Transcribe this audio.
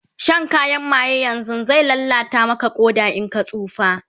Shan kayan maye yanzun zai lallata Maka Ƙoda in ka tsufa